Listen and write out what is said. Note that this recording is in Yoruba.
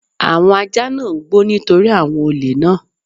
Àwọn ajá náà ń gbó nítorí àwọn olè náà.